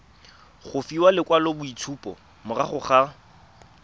go fiwa lekwaloitshupo morago ga